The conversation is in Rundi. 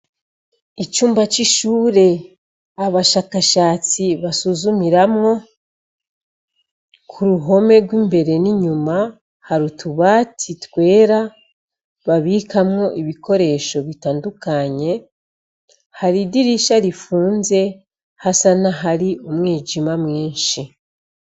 Icumba c'ishure abashakashatsi basuzumiramwo. Ku ruhome rw'imbere n'inyuma hari utubati twera, babikamwo ibikoresho bitandukanye. Hari idirisha rifunze, hasa n'ahari umwijima mwinshi.